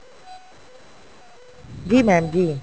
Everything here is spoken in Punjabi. ਜੀ mam ਜੀ